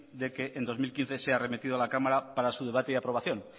de que en dos mil quince sea remitido a la cámara para su debate y aprobación